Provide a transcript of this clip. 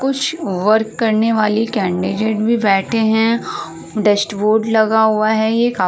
कुछ वर्क करने वाली कैनडीडेट भी बैठे हैं। डेस्कबोर्ड लगा हुआ है ये काफ --